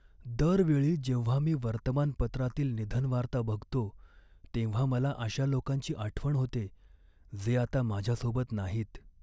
दर वेळी जेव्हा मी वर्तमानपत्रातील निधनवार्ता बघतो तेव्हा मला अशा लोकांची आठवण होते, जे आता माझ्यासोबत नाहीत.